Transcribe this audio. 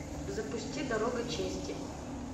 запусти дорога чести